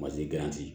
Mazi